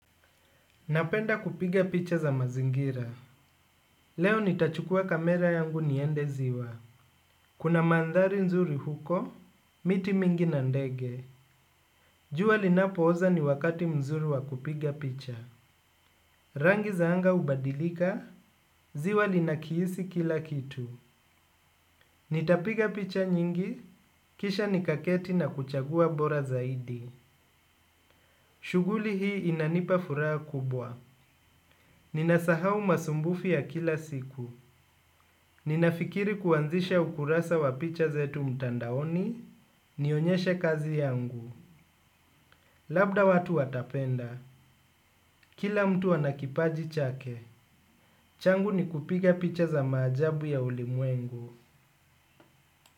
Napenda kupiga picha za mazingira. Leo nitachukua kamera yangu niende ziwa. Kuna mandhari nzuri huko, miti mingi na ndege. Jua linapooza ni wakati mzuri wa kupiga picha. Rangi za anga hubadilika, ziwa linakihisi kila kitu. Nitapiga picha nyingi, kisha nikaketi na kuchagua bora zaidi. Shughuli hii inanipa furaha kubwa. Ninasahau masumbufu ya kila siku. Ninafikiri kuanzisha ukurasa wa picha zetu mtandaoni. Nionyeshe kazi yangu. Labda watu watapenda. Kila mtu ana kipaji chake. Changu ni kupiga picha za maajabu ya ulimwengu.